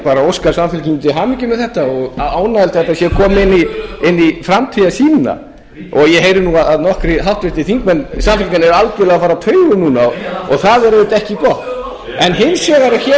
auðvitað ekki gott en hins vegar er hér nú eru það ekki lengur nokkrir virðulegi forseti sem eru að fara á taugum hér eru allir að fara á taugum ég bið þingmenn að gefa ræðumanni hljóð